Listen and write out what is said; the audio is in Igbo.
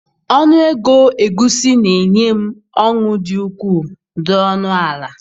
Ọnụ ego egusi na-enye m ọṅụ dị ukwuu! dị ọnụ ala!!!.